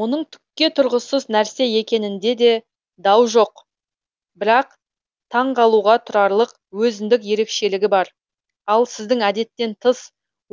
мұның түкке тұрғысыз нәрсе екенінде де дау жоқ бірақ таңғалуға тұрарлық өзіндік ерекшелігі бар ал сіздің әдеттен тыс